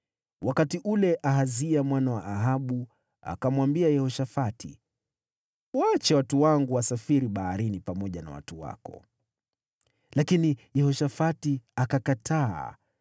Wakati ule, Ahazia mwana wa Ahabu akamwambia Yehoshafati, “Waache watu wangu wasafiri baharini pamoja na watu wako,” lakini Yehoshafati akakataa.